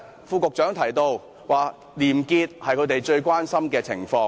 副局長剛才提到廉潔是政府最關心的事情。